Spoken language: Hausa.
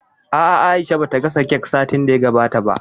A'a, Aisha ba ta gasa kek satin da ya gabata ba